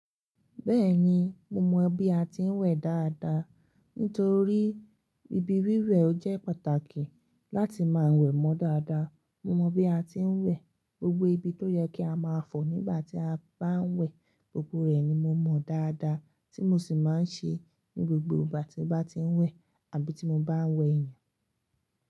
Bẹ́ẹ̀ni, mo mọ bí a ti ń wẹ̀ dáadáa. Nítorí Ibi wíwẹ̀ jẹ́ pàtàkì láti máa wẹ̀ mọ́ dáadáa. Mo mọ bí a ti ń wẹ̀, gbogbo ibi tó yẹ kí a máa fọ̀ nígbà tí a bá ń wẹ̀, gbogbo rẹ̀ ni mo mọ dáadáa tí mo sì máa ń ṣe ní gbogbo ìgbà tí mo bá ti ń wẹ̀ àbí tí mo bá ń wẹ̀ èèyàn.